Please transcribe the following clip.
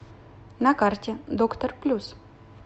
на карте доктор плюс